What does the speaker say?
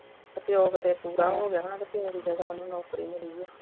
ਪਿਉ ਕਿਤੇ ਪੂਰਾ ਹੋ ਗਿਆ ਹੋਣਾ ਤੇ ਪਿਉ ਦੀ ਜਗ੍ਹਾ ਉਹਨੂੰ ਨੌਕਰੀ ਮਿਲੀ ਆ